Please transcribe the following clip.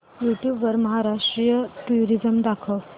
YouTube वर Maharashtra tourism दाखव